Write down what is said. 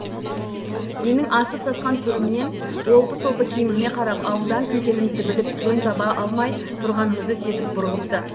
менің асып сасқан түрімнен олпы солпы киіміме қарап ауылдан екенімізді біліп жөн таба алмай тұрғанымызды сезіп бұрылыпты